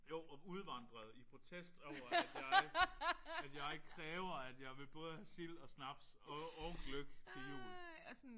Jo og udvandrede i protest over at jeg at jeg kræver at jeg vil både have sild og snaps og og gløgg til jul